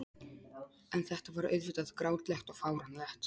En þetta var auðvitað grátlegt og fáránlegt.